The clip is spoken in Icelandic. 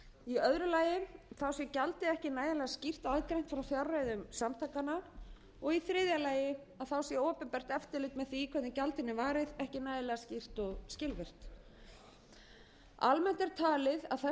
í öðru lagi sé gjaldið ekki nægilega skýrt og aðgreint frá fjárreiðum samtakanna og í þriðja lagi að þá sé opinbert eftirlit með því hvernig gjaldinu er varið ekki nægilega skýrt og skilvirkt almennt er talið að þessi dómur leiði ekki til þeirrar niðurstöðu